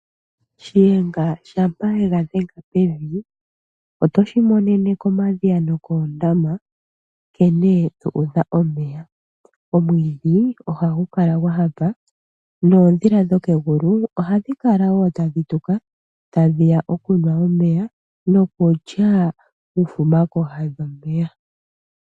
Shihenga shampa yega dhenga pevi, oto shimonene komadhiya nokoondama nkene dhuudha omeya. Omwiidhi ohagu kala gwanyanyukwa noodhila dhokegulu ohadhi kala wo tadhi tuka tadhiya okunwa omeya nokulya uufuma pooha dhomeya.